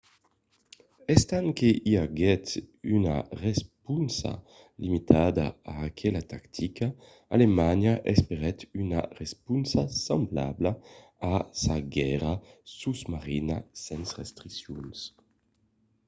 estant que i aguèt una responsa limitada a aquela tactica alemanha espèret una responsa semblabla a sa guèrra sosmarina sens restriccions